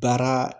Baara